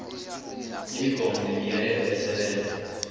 imigomo nemiyalelo esebenza